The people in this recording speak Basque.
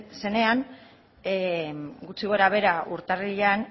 zenean gutxi gorabehera urtarrilean